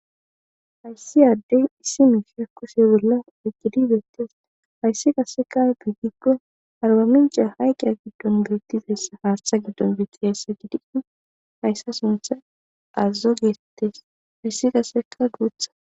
hayssi aaddey issi mifhiyakkuse bolla eqgidi beettes hayssi qaseka piggiggo arba minca hayqqiya giddon biittizeyssa haartha giddon biitti hayssa gidi hayssa suntha azazo geeetees hayssi qaseka guutha